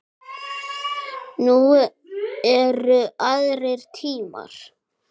Nú eru aðrir tímar.